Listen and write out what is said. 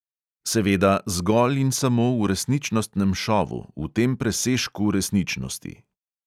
Seveda, zgolj in samo v resničnostnem šovu, v tem presežku resničnosti.